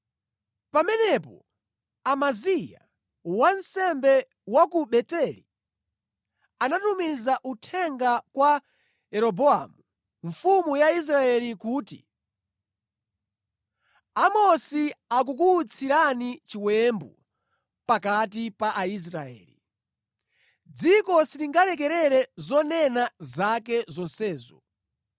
Pamenepo Amaziya wansembe wa ku Beteli anatumiza uthenga kwa Yeroboamu mfumu ya Israeli kuti, “Amosi akukuutsirani chiwembu pakati pa Aisraeli. Dziko silingalekerere zonena zake zonsezo.